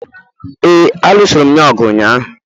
ee, a lụsiri'm ya ọgụ ụnyaahụ